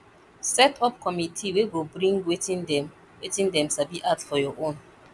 set up committe wey go bring wetin dem wetin dem sabi add for your own